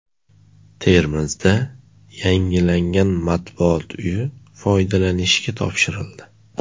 Termizda yangilangan Matbuot uyi foydalanishga topshirildi.